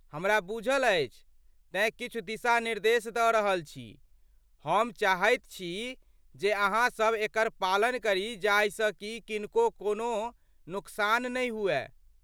हमरा बुझल अछि, तेँ किछु दिशा निर्देश द रहल छी, हम चाहैत छी जे अहाँ सभ एकर पालन करी जाहिसँ कि किनको कोनो नोकसान नहि हुए ।